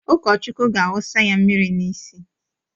Ụkọchukwu ga-awụsaya mmiri n'isi.